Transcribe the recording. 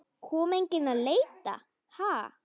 Kom enginn að leita?